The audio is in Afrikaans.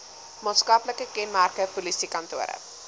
maatskaplike kenmerke polisiekantore